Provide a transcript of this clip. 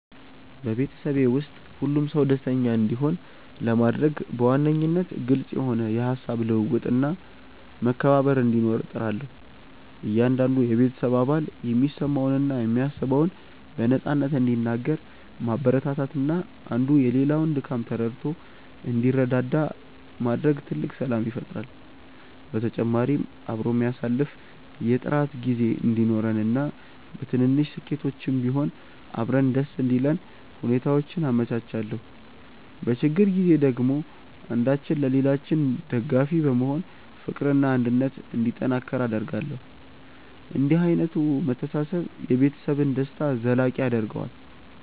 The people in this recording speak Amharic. በቤተሰቤ ውስጥ ሁሉም ሰው ደስተኛ እንዲሆን ለማድረግ በዋነኝነት ግልጽ የሆነ የሃሳብ ልውውጥና መከባበር እንዲኖር እጥራለሁ። እያንዳንዱ የቤተሰብ አባል የሚሰማውንና የሚያስበውን በነፃነት እንዲናገር ማበረታታትና አንዱ የሌላውን ድካም ተረድቶ እንዲረዳዳ ማድረግ ትልቅ ሰላም ይፈጥራል። በተጨማሪም አብሮ የሚያሳልፍ የጥራት ጊዜ እንዲኖረንና በትንንሽ ስኬቶችም ቢሆን አብረን ደስ እንዲለን ሁኔታዎችን አመቻቻለሁ። በችግር ጊዜ ደግሞ አንዳችን ለሌላችን ደጋፊ በመሆን ፍቅርና አንድነት እንዲጠናከር አደርጋለሁ። እንዲህ ዓይነቱ መተሳሰብ የቤተሰብን ደስታ ዘላቂ ያደርገዋል።